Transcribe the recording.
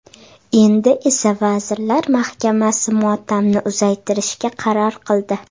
Endi esa vazirlar mahkamasi motamni uzaytirishga qaror qildi.